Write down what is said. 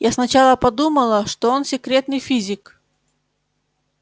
я сначала подумала что он секретный физик